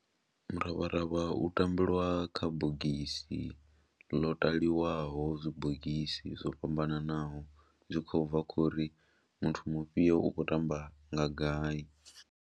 Miravharavha u tambeliwa kha bogisi ḽo taliwaho zwibogisi zwo fhambananaho zwi khou bva khou ri muthu mufhio u khou tamba nga gai.